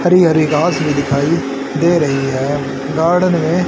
हरी हरी घास भी दिखाइ दे रही है गार्डन में--